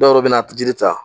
Dɔw bɛna ti jiri ta